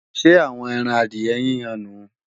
Ṣé àwọn ẹran adìyẹ yíyan nùu?